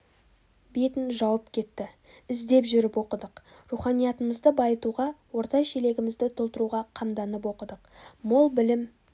бетін жауып кетті іздеп жүріп оқыдық руханиятымызды байытуға орта шелегімізді толтыруға қамданып оқыдық мол білім